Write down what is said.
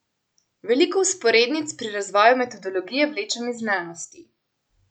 Veliko vzporednic pri razvoju metodologije vlečem iz znanosti.